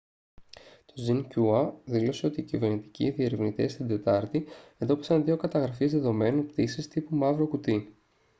το xinhua δήλωσε ότι κυβερνητικοί διερευνητές την τετάρτη εντόπισαν δύο καταγραφείς δεδομένων πτήσης τύπου «μαύρο κουτί»